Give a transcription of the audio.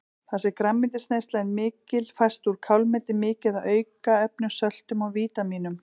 Þar sem grænmetisneyslan er mikil fæst úr kálmeti mikið af aukaefnum, söltum og vítamínum.